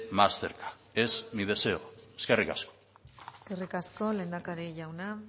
más cerca es mi deseo eskerrik asko eskerrik asko lehendakari jauna